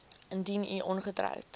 indien u ongetroud